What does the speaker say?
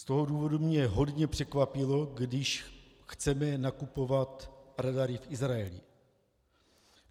Z toho důvodu mě hodně překvapilo, že chceme nakupovat radary v Izraeli.